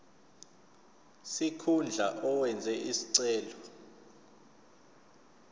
sikhundla owenze isicelo